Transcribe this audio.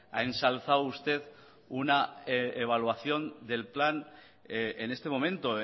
ha ensalzado usted una evaluación del plan en este momento